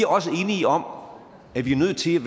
også enige om at vi er nødt til